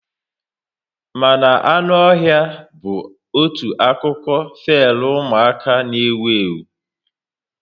Mma na anụ ọhịa bụ otu akụkọ feli umuaka n'ewu ewu